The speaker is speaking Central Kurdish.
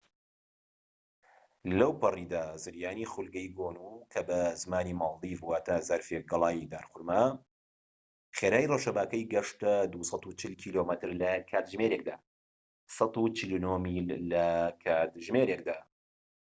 لەوپەڕیدا، زریانی خولگەیی گۆنو، کە بە زمانی مالدیڤ واتە زەرفێك گەڵای دارخورما، خێرایی ڕەشەباکەی گەشتە ٢٤٠ کیلۆمەتر لە کاتژمێرێکدا ١٤٩ میل لە کاتژمێرێكدا